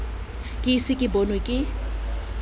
ke ise ke bonwe ke